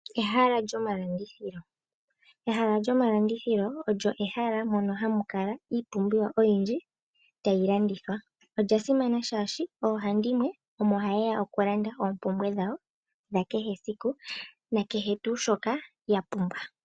Ehala lyomalandithilo olyo ehala mono hali kala iipumbiwa oyindji tayi landithwa. Olya simana, oshoka oohandimwe omo haye ya okulanda oompumbwe dhawo dha kehe esiku nakehe tuu shoka ya pumbwa.